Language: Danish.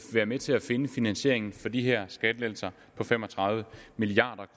være med til at finde finansieringen for de her skattelettelser på fem og tredive milliard